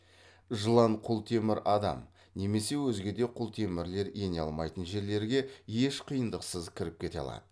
жылан құлтемір адам немесе өзге де құлтемірлер ене алмайтын жерлерге еш қиындықсыз кіріп кете алады